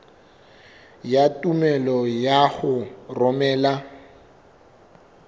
ya tumello ya ho romela